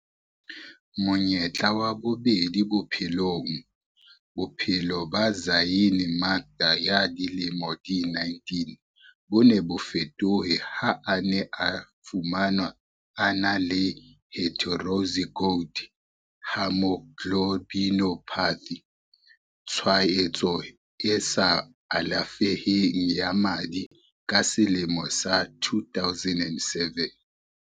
Monyetla wa bobedi bophelongBophelo ba Zyaan Makda ya dilemo di 19 bo ne bo fetohe ha a ne a fumanwa a na le heterozygote haemoglobinopathy, tshwaetso e sa alafeheng ya madi ka selemo sa 2007.